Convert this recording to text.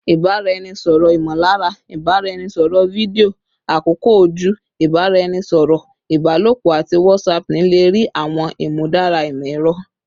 Ibaraẹnisọrọ imolara, ibaraẹnisọrọ fidio, akoko oju, ibaraẹnisọrọ ibalopo, ati whatsapping le rii awọn imudara imọ-ẹrọ